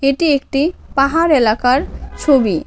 এটি একটি পাহাড় এলাকার ছবি।